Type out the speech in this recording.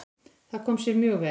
Það kom sér mjög vel.